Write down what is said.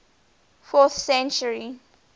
fourth century